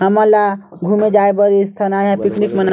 हमन ला घूमे जाये बर स्थानाय पिकनिक मन्ये --